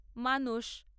মানস।